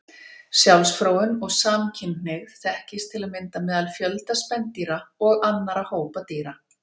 Sjálfsfróun og samkynhneigð þekkist til að mynda meðal fjölda spendýra og annarra hópa dýra.